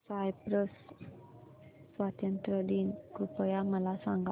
Cyprus स्वातंत्र्य दिन कृपया मला सांगा